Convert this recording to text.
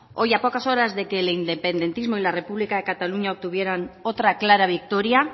hoy a pocas horas de que el independentismo y la república de cataluña obtuvieran otra clara victoria